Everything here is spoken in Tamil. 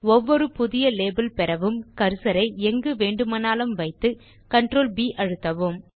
ஒவ்வொரு புதிய லேபல் பெறவும் கர்சரை எங்கு வேண்டுமானாலும் வைத்து CtrlB அழுத்தவும்